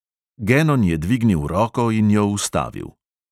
Genon je dvignil roko in jo ustavil.